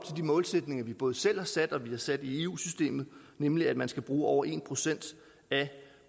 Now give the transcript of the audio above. de målsætninger vi både selv har sat og som vi har sat i eu systemet nemlig at man skal bruge over en procent af